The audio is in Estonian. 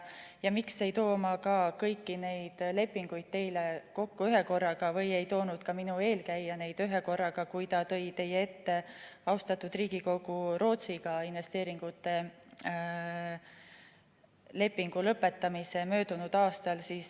Ja miks ma ei too kõiki neid lepinguid teie ette ühekorraga või ei toonud ka minu eelkäija neid ühekorraga, kui ta tõi teie ette, austatud Riigikogu, Rootsiga investeeringute lepingu lõpetamise möödunud aastal?